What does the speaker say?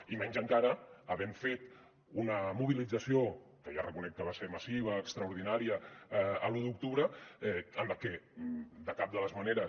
i menys encara havent fet una mobilització que ja reconec que va ser massiva i extraordinària l’u d’octubre en la que de cap de les maneres